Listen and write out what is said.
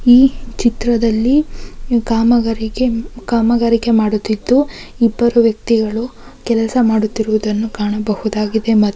ಈ ಚಿತ್ರದಲ್ಲಿ ಕಾಮಗಾರಿಕೆ ಕಾಮಗಾರಿಕೆಮಾಡುತ್ತಿದ್ದು ಇಬ್ಬರು ವ್ಯಕ್ತಿಗಳು ಕೆಲಸ ಮಾಡುತ್ತಿರುವುದನ್ನು ಕಾಣಬಹುದಾಗಿದೆ. ಮತ್ತು--